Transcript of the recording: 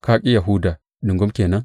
Ka ƙi Yahuda ɗungum ke nan?